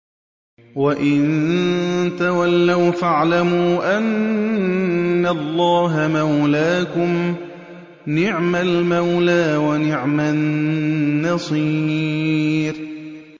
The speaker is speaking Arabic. وَإِن تَوَلَّوْا فَاعْلَمُوا أَنَّ اللَّهَ مَوْلَاكُمْ ۚ نِعْمَ الْمَوْلَىٰ وَنِعْمَ النَّصِيرُ